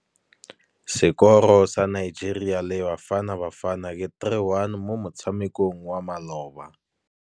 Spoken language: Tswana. Sekôrô sa Nigeria le Bafanabafana ke 3-1 mo motshamekong wa malôba.